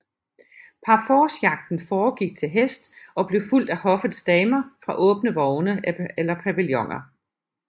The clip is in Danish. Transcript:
Parforcejagten foregik til hest og blev fulgt af hoffets damer fra åbne vogne eller pavilloner